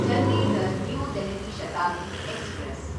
Chandigarh New Delhi Shatabdi express